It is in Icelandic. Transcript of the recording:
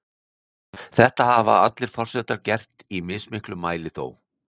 Þetta hafa allir forsetar gert, í mismiklum mæli þó.